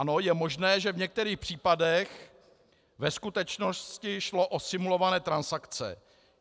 Ano, je možné, že v některých případech ve skutečnosti šlo o simulované transakce.